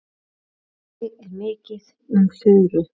Einnig er mikið um furu.